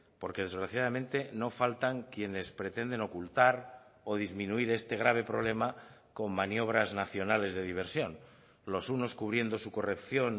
porque desgraciadamente no faltan quienes pretenden ocultar o disminuir este grave problema con maniobras nacionales de diversión los unos cubriendo su corrección